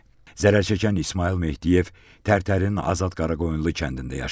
Zərər çəkən İsmayıl Mehdiyev Tərtərin Azad Qaraqoyunlu kəndində yaşayır.